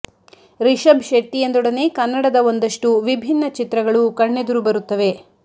ರಿಷಭ್ ಶೆಟ್ಟಿ ಎಂದೊಡನೆ ಕನ್ನಡದ ಒಂದಷ್ಟು ವಿಭಿನ್ನ ಚಿತ್ರಗಳು ಕಣ್ಣೆದುರು ಬರುತ್ತವೆ